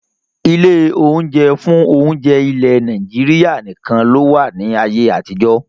Ilé oúnjẹ fún oúnjẹ ilẹ̀ Nàìjíríà nìkan lowa ni ayé àtijọ́